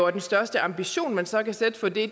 og den største ambition man så kan sætte for det